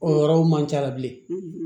O yɔrɔw man ca bilen